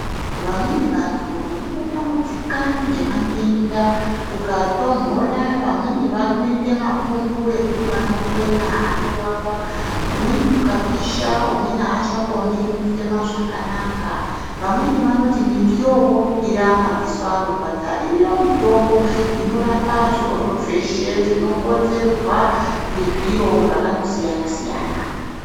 Vamweni vantu vanotambudzika ngemadenda kukutonhora vamweni vanoita mapundu ekuti vanokwena anovava kumweni kukapisha umweni achakoni kufema zvakanaka vamweni vanoti miti yoburukira madziso anorwadza iriyo mitombo inorapa zvirozvo zveshe zvinokonzerwa ngezviro zvakandosiyana siyana.